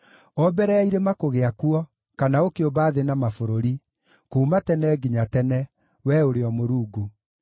O mbere ya irĩma kũgĩa kuo kana ũkĩũmba thĩ na mabũrũri, kuuma tene nginya tene, Wee ũrĩ o Mũrungu.